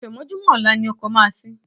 Àfẹ̀mọ́júmọ́ ọ̀la ni ọkọ̀ máa ṣí.